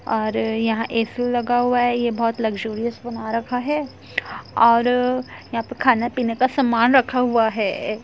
और यहाँ ए.सी. लगा हुआ है। यह बहुत लुक्सुरियस बना रखा है और यहाँ पे खाने पीने का सामान रखा हुआ है।